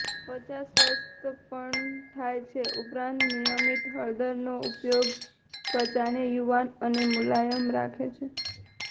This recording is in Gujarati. ત્વચા સ્વચ્છ પણ થાય છે ઉપરાંત નિયમિતતા હળદરનો ઉપયોગ ત્વચાને યુવાન અને મુલાયમ રાખે છે